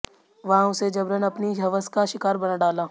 वहां उसे जबरन अपनी हवस का शिकार बना डाला